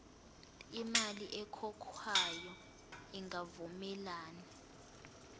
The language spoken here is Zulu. imali ekhokhwayo ingavumelani